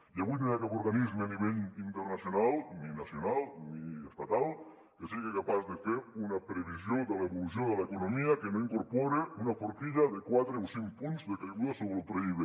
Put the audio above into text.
i avui no hi ha cap organisme a nivell internacional ni nacional ni estatal que sigui capaç de fer una previsió de l’evolució de l’economia que no incorpori una forquilla de quatre o cinc punts de caiguda sobre el pib